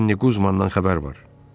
Cenni Qumandan xəbər var.